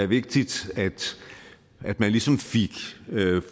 vigtigt at man ligesom fik